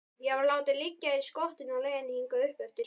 Ég var látinn liggja í skottinu á leiðinni hingað uppeftir.